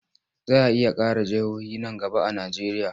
Za a iya ƙara jihohi nan gaba a Najeriya.